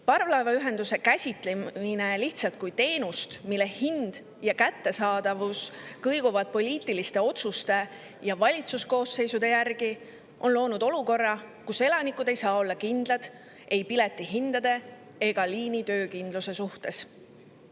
Parvlaevaühenduse käsitlemine lihtsalt teenusena, mille hind ja kättesaadavus kõiguvad poliitiliste otsuste ja valitsuskoosseisude järgi, on loonud olukorra, kus elanikud ei saa olla kindlad ei piletihindade ega liini töökindluse suhtes.